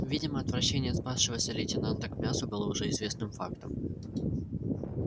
видимо отвращение спасшегося лейтенанта к мясу было уже известным фактом